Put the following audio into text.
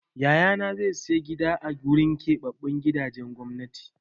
Yayana zai sayi gida a gurin keɓaɓɓun gidajen gwamnati.